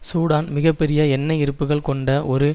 Sudan மிக பெரிய எண்ணெய் இருப்புகள் கொண்ட ஒரு